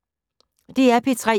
DR P3